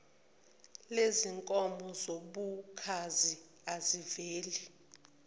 lezinkomo zobukhazi aziveli